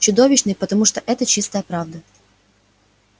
чудовищные потому что это чистая правда